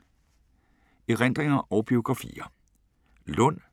Erindringer og biografier